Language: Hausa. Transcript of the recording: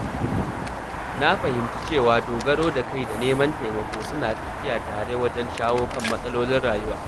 Na fahimci cewa dogaro da kai da neman taimako suna tafiya tare wajen shawo kan matsalolin rayuwa.